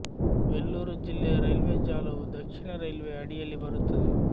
ವೆಲ್ಲೂರು ಜಿಲ್ಲೆಯ ರೈಲ್ವೆ ಜಾಲವು ದಕ್ಷಿಣ ರೈಲ್ವೆಯ ಅಡಿಯಲ್ಲಿ ಬರುತ್ತದೆ